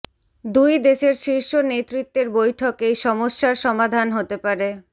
দুই দেশের শীর্ষ নেতৃত্বের বৈঠকেই সমস্যার সমাধান হতে পারে